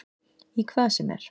Í hvað sem er.